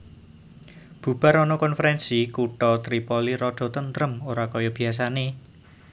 Bubar ana konferensi kutha Tripoli rada tentrem ora kaya biasane